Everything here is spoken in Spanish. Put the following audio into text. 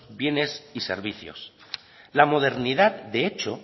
bienes y servicios la modernidad de hecho